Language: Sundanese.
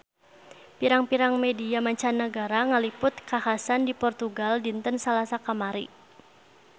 Pirang-pirang media mancanagara ngaliput kakhasan di Portugal dinten Salasa kamari